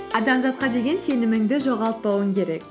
адамзатқа деген сеніміңді жоғалтпауың керек